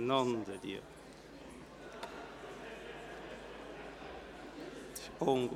() Nom de Dieu, es ist unglaublich!